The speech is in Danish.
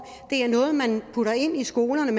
det er noget man putter ind i skolerne